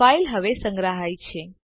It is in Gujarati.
ફાઈલ હવે સંગ્રહાય છે